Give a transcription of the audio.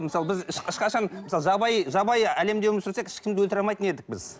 мысалы біз ешқашан мысалы жабайы жабайы әлемде өмір сүрсек ешкімді өлтіре алмайтын едік біз